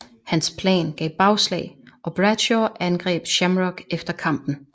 Hans plan gav bagslag og Bradshaw angreb Shamrock efter kampen